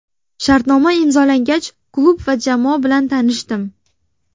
Shartnoma imzolangach klub va jamoa bilan tanishdim.